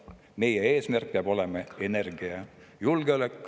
Meie eesmärk peab olema energiajulgeolek …